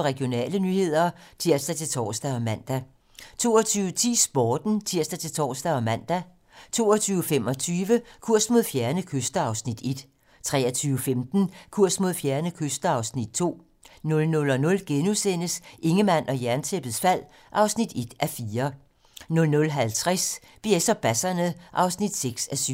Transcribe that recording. Regionale nyheder (tir-tor og man) 22:10: Sporten (tir-tor og man) 22:25: Kurs mod fjerne kyster (Afs. 1) 23:15: Kurs mod fjerne kyster (Afs. 2) 00:00: Ingemann og Jerntæppets fald (1:4)* 00:50: BS og basserne (6:7)